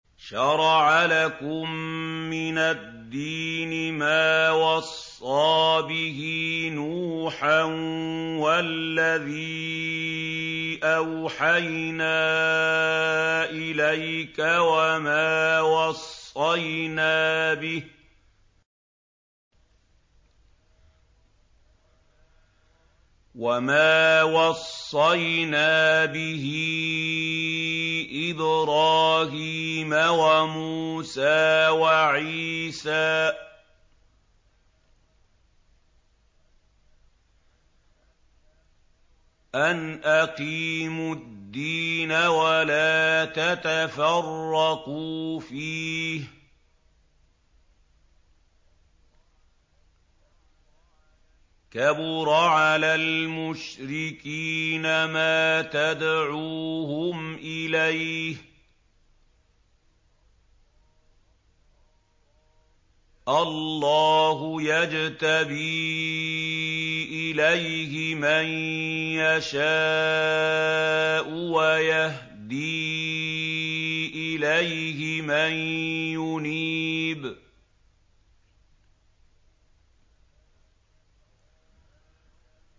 ۞ شَرَعَ لَكُم مِّنَ الدِّينِ مَا وَصَّىٰ بِهِ نُوحًا وَالَّذِي أَوْحَيْنَا إِلَيْكَ وَمَا وَصَّيْنَا بِهِ إِبْرَاهِيمَ وَمُوسَىٰ وَعِيسَىٰ ۖ أَنْ أَقِيمُوا الدِّينَ وَلَا تَتَفَرَّقُوا فِيهِ ۚ كَبُرَ عَلَى الْمُشْرِكِينَ مَا تَدْعُوهُمْ إِلَيْهِ ۚ اللَّهُ يَجْتَبِي إِلَيْهِ مَن يَشَاءُ وَيَهْدِي إِلَيْهِ مَن يُنِيبُ